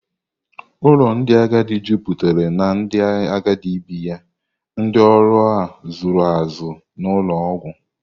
Ụlọ ndị agadi juputara na ndị agadi bi ya, ndị ọrụ a zụrụ azụ na ụlọ ọgwụ.